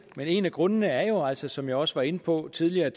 men en af grundene er jo altså som jeg også var inde på tidligere